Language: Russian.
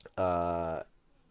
аа